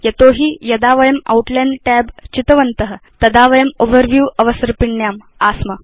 यतो हि यदा वयं आउटलाइन् tab चितवन्त तदा वयं ओवरव्यू अवसर्पिण्याम् आस्म